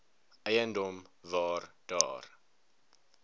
eiendom waar daar